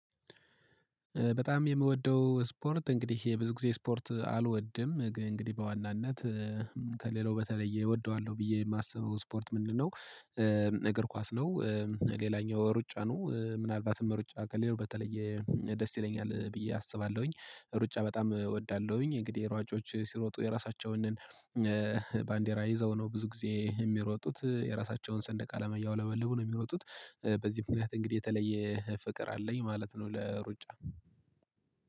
በጣም የምወደው ስፖርት እንግዲህ የብዙ ጊዜ ስፖርት አልወድም እንግዲህ በዋናነት ከሌላው በተለየ እወደዋለሁ ብዬ የማስበው ስፖርት ምንድነው? እግር ኳስ ነው። ሌላኛው ሩጫ ነው ምናልባትም ሩጫ ከሌላው በተለየ ደስ ይለኛል ብዬ አስባለሁኝ። ሩጫ በጣም እወዳለሁኝ እንግዲህ ሯጮች ሲሮጡ የራሳቸውንን ባንዴራ ይዘው ነው ብዙ ጊዜ የሚሮጡት የራሳቸውን ሰንደቅ አለም እያወለበልቡ ነው የሚሮጡት። በዚህ ምክንያት እንግዲህ የተለየ ፍቅር አለኝ ማለት ነው ለሩጫ